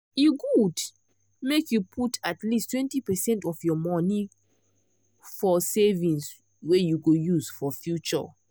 e good make you put at least 20 percent of your monie for for savings wey you go use for future.